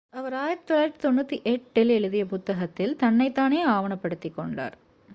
அவர் 1998 ல் எழுதிய புத்தகத்தில் தன்னைத் தானே ஆவணப்படுத்திக் கொண்டார்